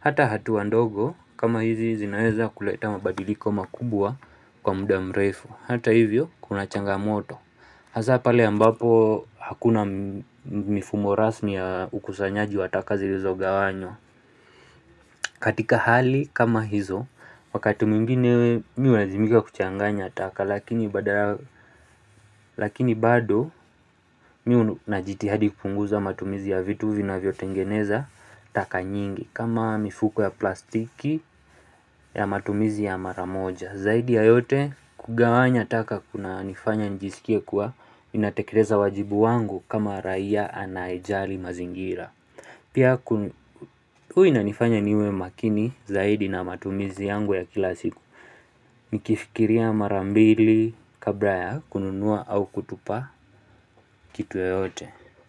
hata hatua ndogo kama hizi zinaweza kuleta mabadiliko makubwa kwa muda mrefu. Hata hivyo kuna changamoto. Hasaa pale ambapo hakuna mifumo rasmi ya ukusanyaji wa taka zilizogawanywa. Katika hali kama hizo, wakati mwingine mimi hulazimika kuchanganya taka lakini bado najitahidi kupunguza matumizi ya vitu vinavyotengeneza taka nyingi. Kama mifuko ya plastiki ya matumizi ya maramoja. Zaidi ya yote kugawanya taka kuna nifanya njisikia kuwa ninatekeleza wajibu wangu kama raia anayejali mazingira. Pia huwa inanifanya niwe makini zaidi na matumizi yangu ya kila siku. Nikifikiria mara mbili kabla ya kununua au kutupa kitu yoyote.